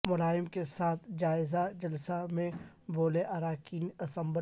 ملائم کے ساتھ جائزہ جلسہ میں بولے اراکین اسمبلی